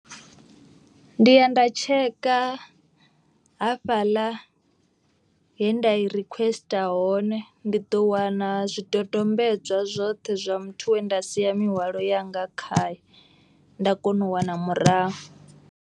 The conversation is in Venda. Ndi ya nda tsheka ha fhaḽa he nda i requester hone. Ndi ḓo wana zwidodombedzwa zwoṱhe zwa muthu wenda sia mihwalo yanga khaye. Nda kona u wana murahu.